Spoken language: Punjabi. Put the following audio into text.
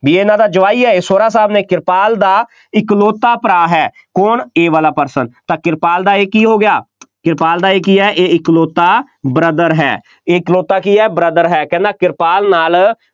ਬਈ ਇਹਨਾ ਦਾ ਜਵਾਈ ਹੈ, ਸਹੁਰਾ ਸਾਹਬ ਨੇ ਕਿਰਪਾਲ ਦਾ ਇਕਲੌਤਾ ਭਰਾ ਹੈ, ਕੌਣ ਇਹ ਵਾਲਾ person ਤਾਂ ਕਿਰਪਾਲ ਦਾ ਇਹ ਕੀ ਹੋ ਗਿਆ, ਕਿਰਪਾਲ ਦਾ ਇਹ ਕੀ ਹੈ, ਇਹ ਇਕਲੌਤਾ brother ਹੈ, ਇਹ ਇਕਲੌਤਾ ਕੀ ਹੈ, brother ਹੈ, ਕਹਿੰਦਾ ਕਿਰਪਾਲ ਨਾਲ